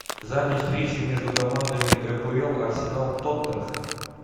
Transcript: запись встречи между командами эпл арсенал тоттенхэм